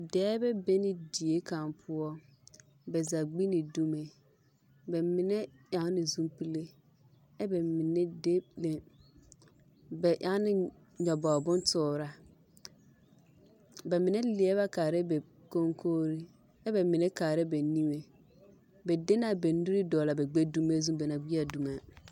Dɔbɔ be la die kaŋa poɔ, ba zaa gbi la dumo bamine eŋ la zupile kyɛ ka bamine de le ba eŋ la nyobogi bontooraa bamine leɛ kaara la ba koŋkogiri kyɛ ka bamine kaara ba niŋe ba de la ba nuuri dɔgele ba gbɛdumo zu ba naŋ gbi a dumo.